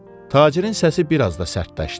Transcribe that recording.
Tacirin səsi biraz da sərtləşdi.